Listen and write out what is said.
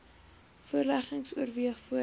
voorleggings oorweeg voordat